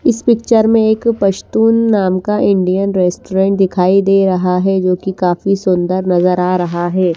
इस पिक्चर में एक पश्तून नाम का इंडियन रेस्ट्रोरेन्ट दिखाई दे रहा है जो की काफी सूंदर नजर आ रहा है ।